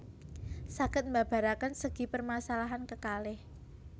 Saged mbabaraken segi permasalahan kekalih